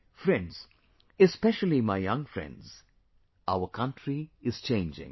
Friends, especially my young friends, our country is changing